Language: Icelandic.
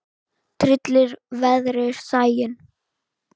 Tryllir veðrið sæinn.